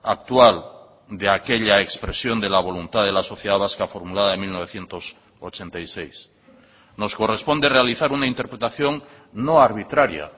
actual de aquella expresión de la voluntad de la sociedad vasca formulada en mil novecientos ochenta y seis nos corresponde realizar una interpretación no arbitraria